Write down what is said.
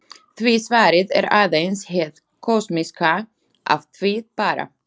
Því svarið er aðeins hið kosmíska af því bara.